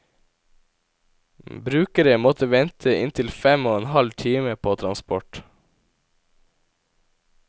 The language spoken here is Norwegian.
Brukere måtte vente inntil fem og en halv time på transport.